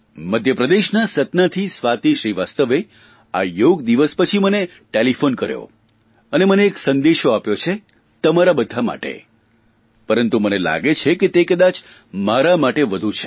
મધ્યપ્રદેશના સતનાથી સ્વાતિ શ્રીવાસ્તવે આ યોગદિવસ પછી મને ટેલિફોન કર્યો અને મને એક સંદેશો આપ્યો છે તમારા બધા માટે પરંતુ મને લાગે છે કે તે કદાચ મારા માટે વધુ છે